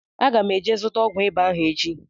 Aga m eje zụta ọgwụ ịba ahụ echi